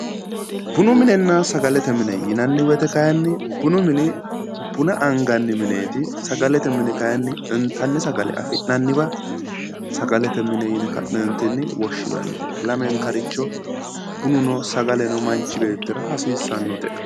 Bunu minunna sagalete mine yinanni woyte kayinni bunu mini buna anganni mineeti sagalete mini kayinni intanni sagale afi'nanniwa sagalete ine yine ka'neentinni woshshinanni lamenkaricho bununo sagaleno manchi beettira hasiissannote